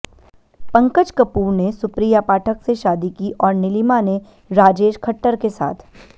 पंकज कपूर ने सुप्रिया पाठक से शादी की आैर नीलिमा ने राजेश खट्टर के साथ